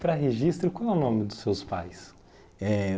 Para registro, como é o nome dos seus pais? Eh